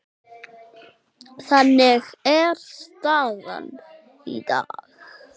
Þannig er staðan í dag.